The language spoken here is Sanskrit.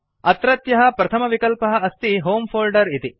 अत्रत्यः प्रथमविकल्पः अस्ति होमे फोल्डर इति